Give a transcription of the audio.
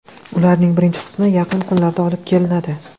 Ularning birinchi qismi yaqin kunlarda olib kelinadi.